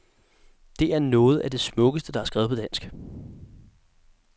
Det er nogett af det smukkeste, der er skrevet på dansk.